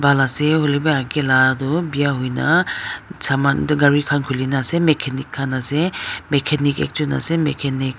ase hoilae bi akae la tu biya hoina saman gari khan tu khulina ase machanic khan ase machanic ekjon machanic .